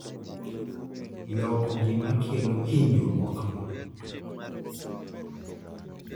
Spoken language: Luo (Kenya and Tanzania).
loko gimakelo hinyruok no